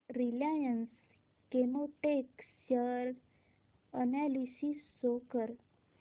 Reliance Chemotex share analysis show कर